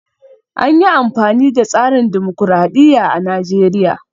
An yi amfani da tsarin dimokuradiyya a Najeriya